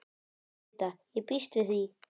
Tauta: Ég býst við því.